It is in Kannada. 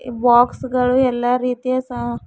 ಬಾಕ್ಸ್ ಗಳು ಎಲ್ಲ ರೀತಿಯ ಸ--